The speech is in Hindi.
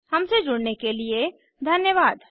हमसे जुड़ने के लिए धन्यवाद